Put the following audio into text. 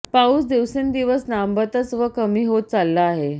पाऊस दिवसेंदिवस लांबतच व कमी होत चालला आहे